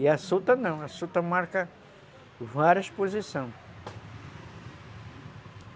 E a suta não, a suta marca várias posições.